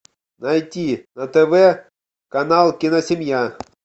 найти на тв канал киносемья